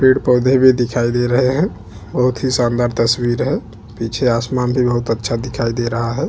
पेड़-पौधे भी दिखाई दे रहे है बहुत ही शानदार तस्वीर है पीछे आसमान भी बहुत अच्छा दिखाई दे रहा है।